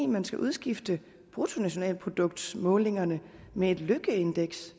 man skal udskifte bruttolnationalproduktsmålingerne med et lykkeindeks